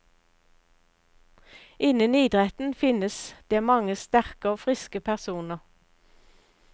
Innen idretten finnes det mange sterke og friske personer.